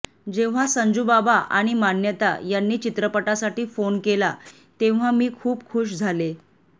जेव्हा संजूबाबा आणि मान्यता यांनी चित्रपटासाठी फोन केला तेव्हा मी खूप खूश झाले